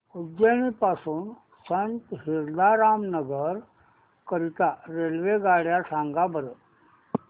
उज्जैन पासून संत हिरदाराम नगर करीता रेल्वेगाड्या सांगा बरं